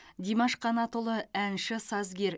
димаш қанатұлы әнші сазгер